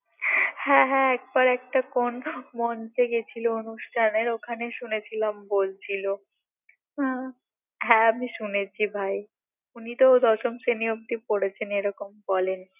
হ্যাঁ হ্যাঁ একবার একটা কোন মঞ্চে গেছিল অনুষ্ঠানে ওখানে শুনেছিলাম বলছিল হু হ্যাঁ আমি শুনেছি ভাই উনিতো দশম শ্রেণি অব্দি পড়েছেন এরকম বলেন